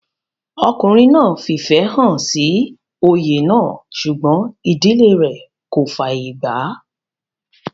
ọkùnrin náà fìfẹ́ hàn sí oyè náà sùgbọ́n ìdílé rẹ̀ kò fàyè gbà á